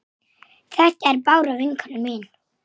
Kókó horfði fúl á Gauk.